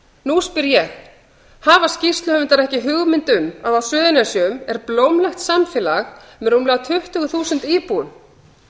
nú spyr ég hafa skýrsluhöfundar ekki hugmynd um að á suðurnesjum er blómlegt samfélag með rúmlega tuttugu þúsund íbúum